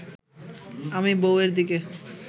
আমি বউয়ের দিকে